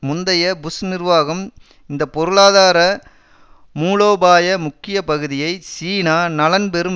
முந்தைய புஷ் நிர்வாகம் இந்த பொருளாதார மூலோபாய முக்கிய பகுதியை சீனா நலன்பெறும்